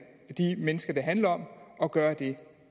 mennesker det handler om at gøre det